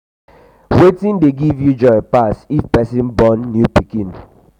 wetin dey give you um joy um pass if pesin born a new baby? um